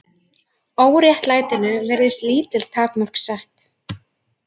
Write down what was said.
Óréttlætinu virðast lítil takmörk sett